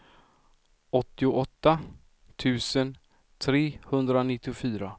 åttioåtta tusen trehundranittiofyra